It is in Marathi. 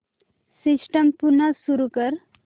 सिस्टम पुन्हा सुरू कर